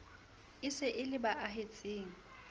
se e le ba ahetseng